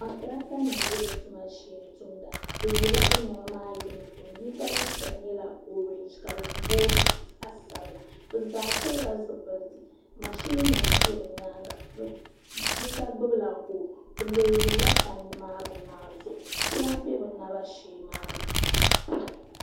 Kontiraata nima n bɛ bi tuma shee tumda bi yɛla bi niɛma maa yunifɔm yinga liiga nyɛla ɔrɛɛnge ka di booyi zaɣa sabila bi zaa pili la zipiliti mashini nima bɛ bi nyaanga yinga gbubi la hoose bi leeyiri la tandi maa bini maa zuɣu kuɣa bɛ bi naba shee maa na.